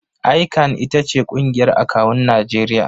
ICAN ita ce ƙungiyar akawun Najeriya.